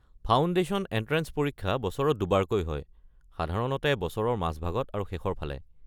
Foundation entrance পৰীক্ষা বছৰত দুবাৰকৈ হয়, সাধাৰণতে বছৰৰ মাজভাগত আৰু শেষৰফালে।